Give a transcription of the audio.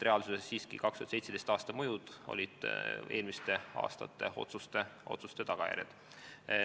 Reaalsuses olid 2017. aasta mõjud eelmiste aastate otsuste tagajärjed.